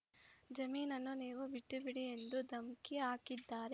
ಜಮೀನನ್ನು ನೀವು ಬಿಟ್ಟು ಬಿಡಿ ಎಂದು ಧಮಕಿ ಹಾಕಿದ್ದಾರೆ